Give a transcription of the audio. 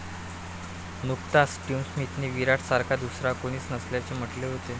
नुकताच स्टीव्ह स्मिथनेही विराटसारखा दुसरा कोणीच नसल्याचे म्हटले होते.